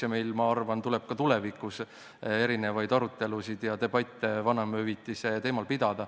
Ja meil tuleb, ma arvan, pidada ka tulevikus arutelusid ja debatte vanemahüvitise teemal.